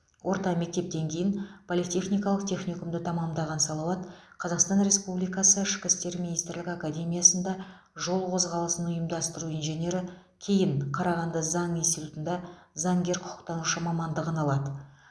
орта мектептен кейін политехникалық техникумды тәмамдаған салауат қазақстан республикасы ішкі істер министрлігі академиясында жол қозғалысын ұйымдастыру инженері кейін қарағанды заң институтында заңгер құқықтанушы мамандығын алады